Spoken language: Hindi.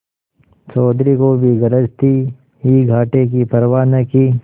चौधरी को भी गरज थी ही घाटे की परवा न की